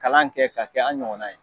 Kalan kɛ k'a kɛ an ɲɔgɔnna ye.